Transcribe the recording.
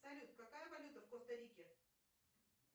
салют какая валюта в коста рике